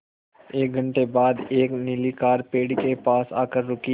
एक घण्टे बाद एक नीली कार पेड़ के पास आकर रुकी